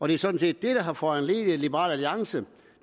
det er sådan set det der har foranlediget at liberal alliance